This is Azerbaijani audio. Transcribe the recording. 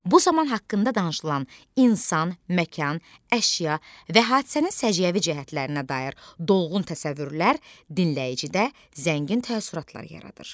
Bu zaman haqqında danışılan insan, məkan, əşya və hadisənin səciyyəvi cəhətlərinə dair dolğun təsəvvürlər dinləyicidə zəngin təəssüratlar yaradır.